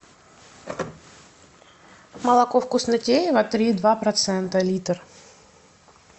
молоко вкуснотеево три и два процента литр